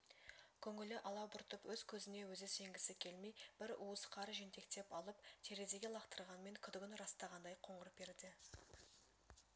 көңілі алабұртып өз көзіне өзі сенгісі келмей бір уыс қар жентектеп алып терезеге лақтырғанмен күдігін растағандай қоңыр перде